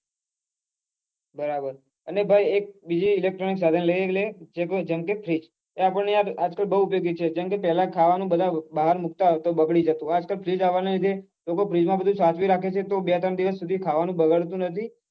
બરાબર અને ભાઈ એક બીજી electronic સાધન લઇ લે જેમ કે freeze અલ્યા પણ યાર આજ કાલ બઉ ઉપયોગી છે જેમ કે પેલા ખાવા નું બાર મુક્ત તો બગડી જતું આજ કાલ freeze આવવા નાં લીધે લોકો freeze માં બધું સાચવી રાખે છે તો બે ત્રણ દિવસ સુધી ખાવા નું બગડતું નથી